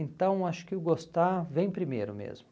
Então, acho que o gostar vem primeiro mesmo.